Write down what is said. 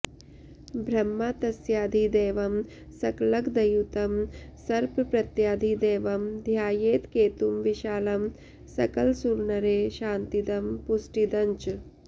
ब्रह्मा तस्याधिदैवं सकलगदयुतं सर्पप्रत्यधिदैवं ध्यायेत् केतुं विशालं सकलसुरनरे शान्तिदं पुष्टिदञ्च